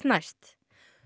næst